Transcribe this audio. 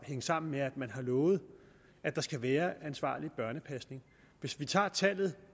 hænge sammen med at man har lovet at der skal være ansvarlig børnepasning hvis vi tager tallet